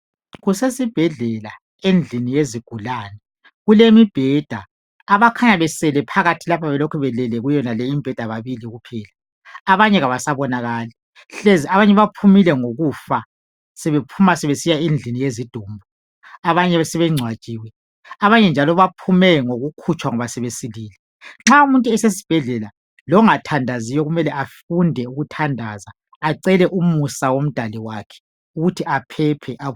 Kusesibhedlela endlini yezigulane kulemibheda, abakhanya besele phakathi lapha belokhe belele kuyonale imibheda babili kuphela abanye abasabonakali hlezi abanye baphumile ngokufa sebephuma sebesiya endlini yezidumbu, abanye sebengcwatshiwe, abanye njalo baphume ngokukhutshwa ngoba sebesilile. Nxa umuntu esesibhedlela longathandaziyo kumele afunde ukuthandaza acele umusa womdali wakhe ukuthi aphephe.